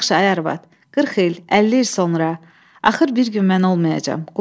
Yaxşı, ay arvad, 40 il, 50 il sonra axır bir gün mən olmayacam.